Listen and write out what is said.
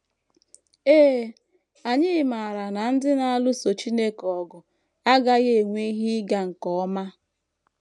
Ee, anyị maara na ndị na - alụso Chineke ọgụ agaghị enwe ihe ịga nke ọma!